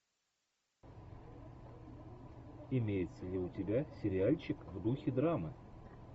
имеется ли у тебя сериальчик в духе драмы